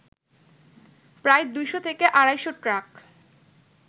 প্রায় দুইশ থেকে আড়াইশ ট্রাক